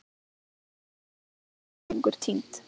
Þau öll horfin, fólkið hennar, sjást ekki lengur, týnd.